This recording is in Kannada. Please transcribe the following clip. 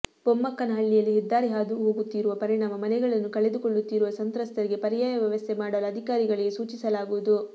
ಬೊಮ್ಮಕ್ಕನಹಳ್ಳಿಯಲ್ಲಿ ಹೆದ್ದಾರಿ ಹಾದು ಹೋಗುತ್ತಿರುವ ಪರಿಣಾಮ ಮನೆಗಳನ್ನು ಕಳೆದುಕೊಳ್ಳುತ್ತಿರುವ ಸಂತ್ರಸ್ತರಿಗೆ ಪರ್ಯಾಯ ವ್ಯವಸ್ಥೆ ಮಾಡಲು ಅಧಿಕಾರಿಗಳಿಗೆ ಸೂಚಿಸಲಾಗುವುದು